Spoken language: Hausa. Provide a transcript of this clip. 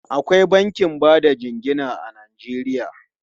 Akwai bankin ba da jingina a Najeriya.